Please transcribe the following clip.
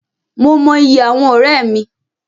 Mo mọ ìyí àwọn ọ̀rẹ́ mí